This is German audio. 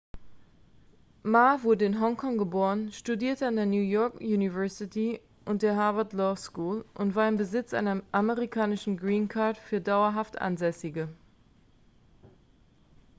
ma wurde in hongkong geboren studierte an der new york university und der harvard law school und war im besitz einer amerikanischen green card für dauerhaft ansässige